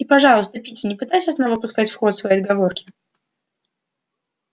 и пожалуйста питти не пытайся снова пускать в ход свои отговорки